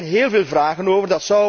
Daar zijn héél veel vragen over.